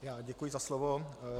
Děkuji za slovo.